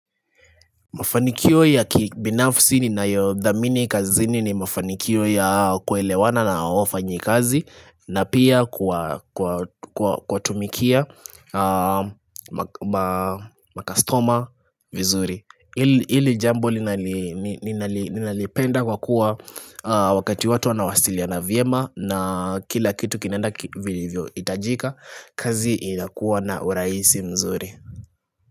Mafanikio ya kibinafsi ni nayodhamini kazini ni mafanikio ya kuelewana na wafanyi kazi na pia kuwa tumikia makastoma vizuri. Ili jambo ninalipenda kwa kuwa wakati watu wanawasiliana vyema na kila kitu kinaenda vilivyoitajika kazi inakuwa na uraisi mzuri.